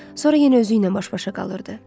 sonra yenə özüylə baş-başa qalırdı.